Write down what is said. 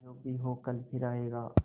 जो भी हो कल फिर आएगा